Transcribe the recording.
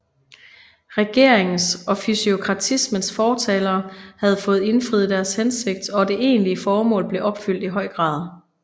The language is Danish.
Regeringens og fysiokratismens fortalere havde fået indfriet deres hensigt og det egentlige formål blev opfyldt i høj grad